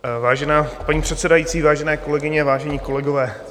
Vážená paní předsedající, vážené kolegyně, vážení kolegové.